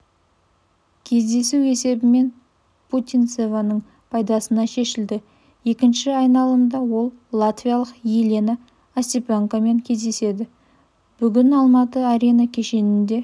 кездесу есебімен путинцеваның пайдасына шешілді екінші айналымда ол латвиялық елена остапенкамен кездеседі бүгін алматы арена кешенінде